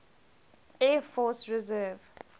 air force reserve